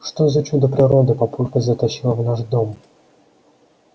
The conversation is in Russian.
что за чудо природы папулька затащил в наш дом